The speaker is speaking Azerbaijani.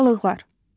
Balıqlar.